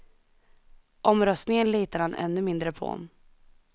Omröstningen litar han ännu mindre på.